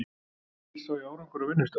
Fyrst sá ég árangur á vinnustað.